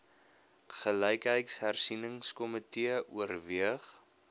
gelykheidshersieningsko mitee oorweeg